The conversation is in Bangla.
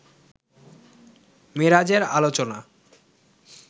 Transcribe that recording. মেরাজের আলোচনা